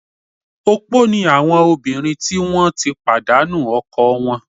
Opó ni àwọn obìnrin tí wọ́n ti pàdánu ọkọ wọn